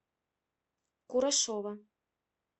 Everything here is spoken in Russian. курашова